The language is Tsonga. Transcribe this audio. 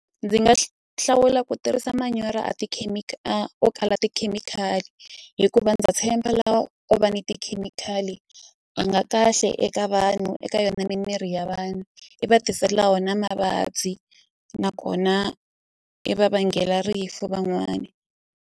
Ndzi nga hlawula ku tirhisa manyoro a a o kala tikhemikhali hikuva ndza tshemba lawa o va ni tikhemikhali a nga kahle eka vanhu eka yona mimiri ya vanhu i va tisela wona mavabyi nakona i va vangela rifu van'wani.